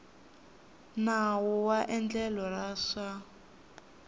nawu wa endlelo ra swa